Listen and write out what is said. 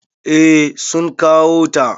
Eh sun kawo ta.